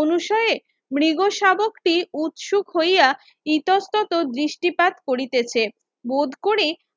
অনুষয়ে মৃগশাবকটি উৎসুক হইয়া ইতস্তত দৃষ্টিপাত করিতেছে বোধ করে